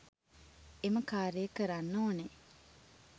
එම කාර්යය කරන්න ඕන.